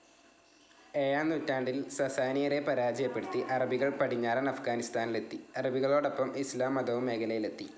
ഏഴാം നൂറ്റാണ്ടിൽ സസാനിയരെ പരാജയപ്പെടുത്തി അറബികൾ പടിഞ്ഞാറൻ അഫ്ഗാനിസ്ഥാനിലെത്തി. അറബികളോടൊപ്പം ഇസ്ലാം മതവും മേഖലയിലെത്തി.